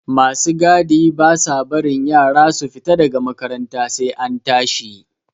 Ma su gadi ba sa barin yara su fita da ga makaranta sai an tashi.